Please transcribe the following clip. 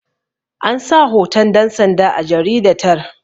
an sa hoton dansanda a jaridatar